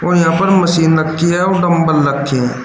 यहां पर मशीन रखी है और डंबल रखे हैं।